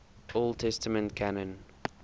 old testament canon